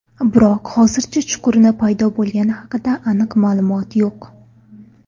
Biroq hozircha chuqurning paydo bo‘lgani haqida aniq ma’lumot yo‘q.